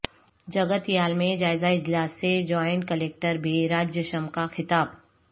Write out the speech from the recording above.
جگتیال میں جائزہ اجلاس سے جوائنٹ کلکٹر بی راجیشم کا خطاب